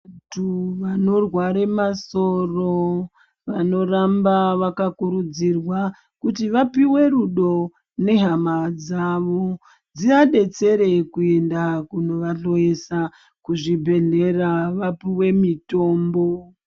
Vanthu vanorware masoro vanoramba vakakurudzirwa kuti vapiwe rudo nehama dzavo dziadetsere kuenda kunovahloyesa kuzvibhedhlera vapiwe mitombo.